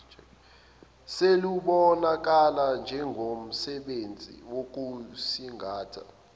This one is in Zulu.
selubonakala njengomsebenzi wokusingatha